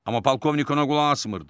Amma polkovnik ona qulaq asmırdı.